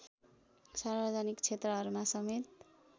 सार्वजनिक क्षेत्रहरूमा समेत